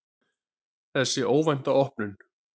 Þessi óvænta opnun